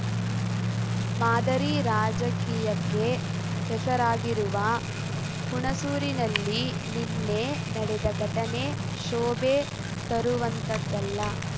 ಮಾದರಿ ರಾಜಕೀಯಕ್ಕೆ ಹೆಸರಾಗಿರುವ ಹುಣಸೂರಿನಲ್ಲಿ ನಿನ್ನೆ ನಡೆದ ಘಟನೆ ಶೋಭೆ ತರುವಂತದ್ದಲ್ಲ